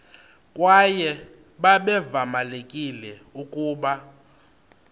kwaye babevamelekile ukuba